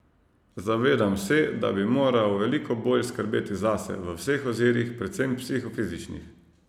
Zavedam se, da bi moral veliko bolj skrbeti zase, v vseh ozirih, predvsem psihofizičnih.